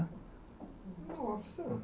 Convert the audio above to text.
Nossa!